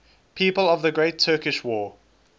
people of the great turkish war